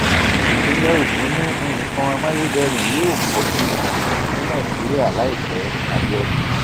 ìpínlẹ ogun ni nǹkan amáyédẹrùn yóò pọ sí jù ní nàìjíríà láìpẹ abiodun